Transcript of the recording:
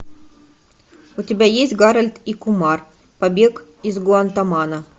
у тебя есть гарольд и кумар побег из гуантанамо